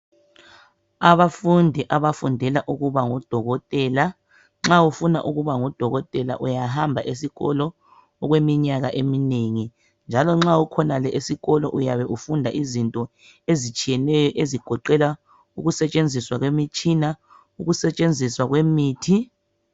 abafundi abafundela ukubangodokotela nxa ufuna ukuba ngudokotela uyahamba esikolo okweminyaka eminengi njalo ma usesikolo uyabe ufunda izinto ezinengi ezigoqela ukusebenza kwemitshina ukusebenza kwemithi